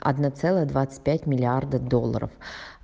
одна целая двадцать пять миллиарда долларов